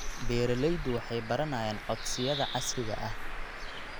Beeraleydu waxay baranayaan codsiyada casriga ah.